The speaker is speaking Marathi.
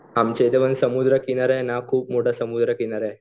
आमच्या इथे समुद्र किनारा आहे ना खुप मोठा समुद्र किनारा आहे.